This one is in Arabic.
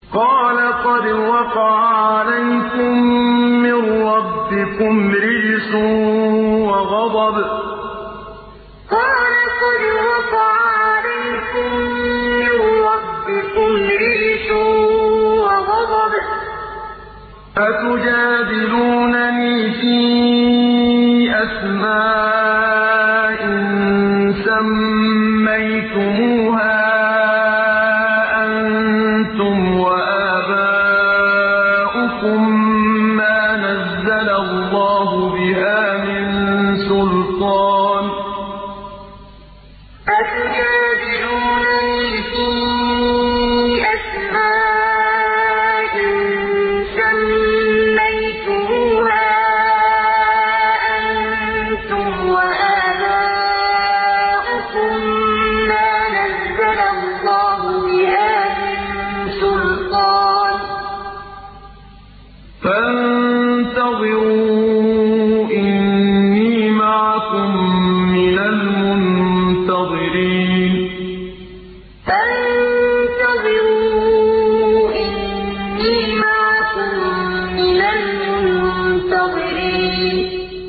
قَالَ قَدْ وَقَعَ عَلَيْكُم مِّن رَّبِّكُمْ رِجْسٌ وَغَضَبٌ ۖ أَتُجَادِلُونَنِي فِي أَسْمَاءٍ سَمَّيْتُمُوهَا أَنتُمْ وَآبَاؤُكُم مَّا نَزَّلَ اللَّهُ بِهَا مِن سُلْطَانٍ ۚ فَانتَظِرُوا إِنِّي مَعَكُم مِّنَ الْمُنتَظِرِينَ قَالَ قَدْ وَقَعَ عَلَيْكُم مِّن رَّبِّكُمْ رِجْسٌ وَغَضَبٌ ۖ أَتُجَادِلُونَنِي فِي أَسْمَاءٍ سَمَّيْتُمُوهَا أَنتُمْ وَآبَاؤُكُم مَّا نَزَّلَ اللَّهُ بِهَا مِن سُلْطَانٍ ۚ فَانتَظِرُوا إِنِّي مَعَكُم مِّنَ الْمُنتَظِرِينَ